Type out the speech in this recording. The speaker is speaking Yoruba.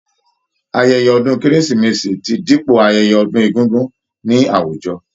Ayẹyẹ ọdún kérésìmesì ti dípò ayẹyẹ ọdún egúngún ní àwùjọ.